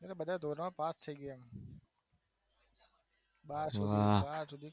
એ બધા ધોરણ પાસ થયી ગયા બાર સુધી બાર સુધી